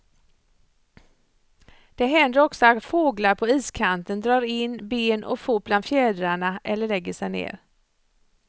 Det händer också att fåglar på iskanten drar in ben och fot bland fjädrarna eller lägger sig ner.